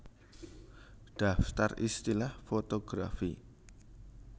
Daftar istilah fotografi